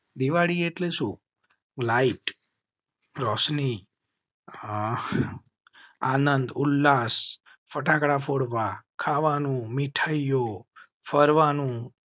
દિવાળી એટલે શું લાઇટ? રોશની. આનંદ ઉલ્લાસ ફટાકડા ફોડવા ખાવા નું મિઠાઈ યો ફરવા નું